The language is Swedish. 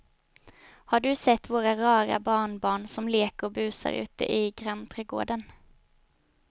Har du sett våra rara barnbarn som leker och busar ute i grannträdgården!